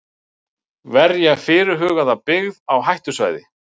Verja fyrirhugaða byggð á hættusvæði.